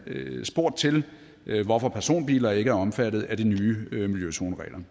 spurgt til hvorfor personbiler ikke er omfattet af de nye miljøzoneregler